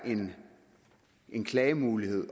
en klagemulighed i